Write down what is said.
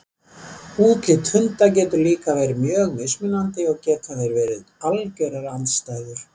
Útlit hunda getur líka verið mjög mismunandi og geta þeir verið algjörar andstæður.